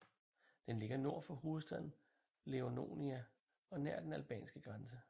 Den ligger nord for hovedstaden Ioannina og nær den albanske grænse